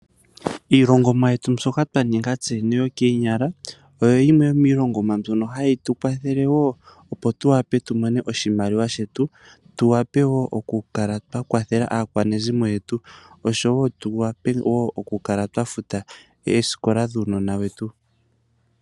Iilongomwa yetu mbyoka twa ninga tse yene yokoonyala, oyo yimwe yomiilongomwa mbyono hayi tu kwathele woo opo tu wape tu mone oshimaliwa shetu, tu wape woo oku kala twa kwathela aakwanezimo yetu, noku kala woo twa futa oosikola dhuunona wetu.